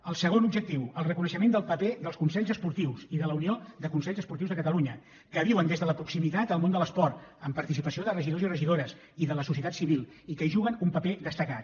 el segon objectiu el reconeixement del paper dels consells esportius i de la unió de consells esportius de catalunya que viuen des de la proximitat el món de l’esport amb participació de regidors i regidores i de la societat civil i que hi juguen un paper destacat